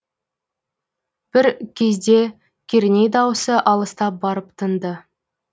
бір кезде керней даусы алыстап барып тынды